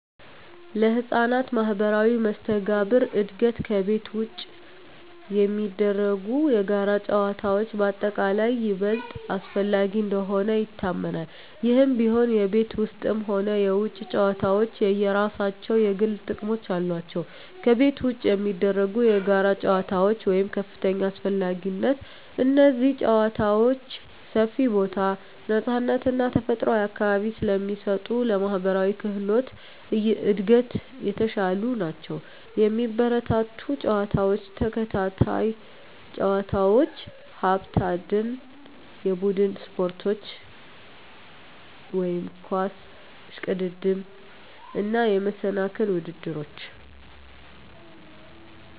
ለሕፃናት ማኅበራዊ መስተጋብር እድገት ከቤት ውጪ የሚደረጉ የጋራ ጨዋታዎች በአጠቃላይ ይበልጥ አስፈላጊ እንደሆኑ ይታመናል። ይህም ቢሆን፣ የቤት ውስጥም ሆኑ የውጪ ጨዋታዎች የየራሳቸው የጎሉ ጥቅሞች አሏቸው። ከቤት ውጪ የሚደረጉ የጋራ ጨዋታዎች (ከፍተኛ አስፈላጊነት) እነዚህ ጨዋታዎች ሰፊ ቦታ፣ ነፃነት እና ተፈጥሯዊ አካባቢ ስለሚሰጡ ለማኅበራዊ ክህሎት እድገት የተሻሉ ናቸው። የሚበረታቱ ጨዋታዎች፦ ተከታታይ ጨዋታዎች፣ ሀብት አደን፣ የቡድን ስፖርቶች (ኳስ፣ እሽቅድድም)፣ እና የመሰናክል ውድድሮች።